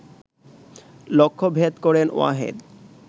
লক্ষ্যভেদ করেন ওয়াহেদ